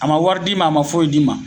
A ma wari d'i ma a ma foyi d'i ma